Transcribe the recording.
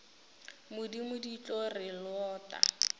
modimo di tlo re lota